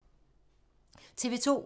TV 2